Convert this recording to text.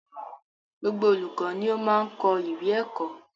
Gbogbo olùkọ ni o máa n kọ ìwé ẹkọ.